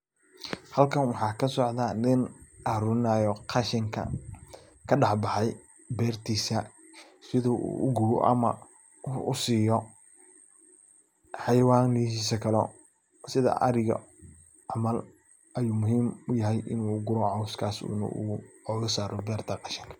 Halkan waxaa kasocda nin aruurinayo qashinka kadaxbaxay beertiisa sidu u gubo ama u siiyo xayawanahiisa kale sida ariga camal ayu muhiim u yahay inu u guro cawskas inu ooga saaro beerta qashinka.